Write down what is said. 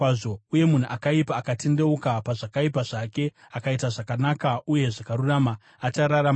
Uye munhu akaipa akatendeuka pazvakaipa zvake akaita zvakanaka uye zvakarurama, achararama nazvo.